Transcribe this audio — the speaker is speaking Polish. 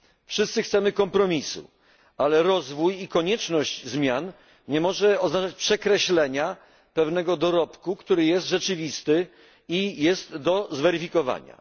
Wszyscy chcemy kompromisu, ale rozwój i konieczność zmian nie mogą oznaczać przekreślenia pewnego dorobku, który jest rzeczywisty i można go zweryfikować.